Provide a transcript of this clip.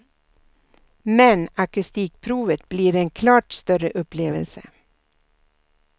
Men akustikprovet blir en klart större upplevelse.